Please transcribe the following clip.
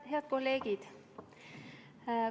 Head kolleegid!